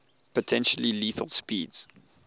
potentially lethal speeds